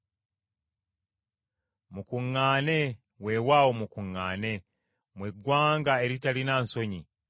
Mukuŋŋaane, weewaawo, mukuŋŋaane, mmwe eggwanga eritalina nsonyi,